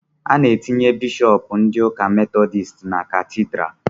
A na-etinye bishọpu ndị ụka metọdist na katidra